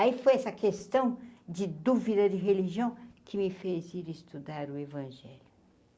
Aí foi essa questão de dúvida de religião que me fez ir estudar o evangelho.